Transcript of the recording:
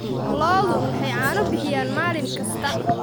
Lo'du waxay caano bixiyaan maalin kasta.